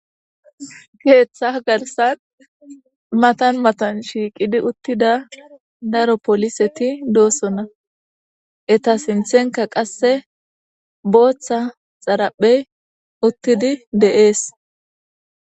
keeththa garsan matan matan shiiqidi uttida daro poliseti doossonna eta sinthenka qasse booththa xaraphey uttidi dee'es